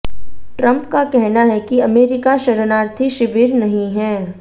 Trump का कहना है कि अमेरिका शरणार्थी शिविर नहीं है